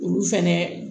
Olu fɛnɛ